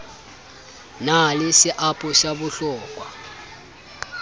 na le seabo sa bohlokwa